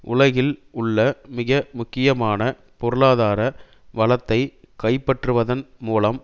உலகில் உள்ள மிக முக்கியமான பொருளாதார வளத்தை கைப்பற்றுவதன் மூலம்